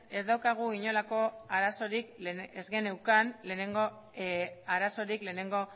ez geneukan inolako arazorik lehenengo